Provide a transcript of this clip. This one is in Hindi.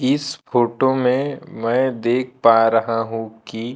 इस फोटो में मैं देख पा रहा हूं कि--